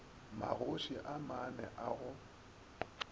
magoši a mane a go